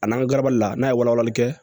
A n'an ka gabali la n'a ye walawalali kɛ